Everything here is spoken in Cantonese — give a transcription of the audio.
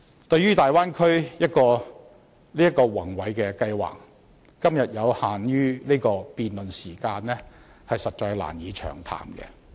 對於大灣區這個宏偉計劃，以今天有限的辯論時間，實在難以詳談。